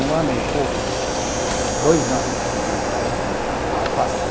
Um ano e pouco de, dois ano, de mais ou menos, da alface.